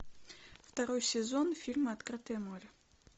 второй сезон фильма открытое море